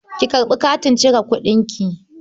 Ki karɓi katin cire kuɗinki.